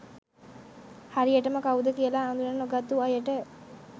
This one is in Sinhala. හරියටම කවුද කියලා අඳුන නොගත්තු අයට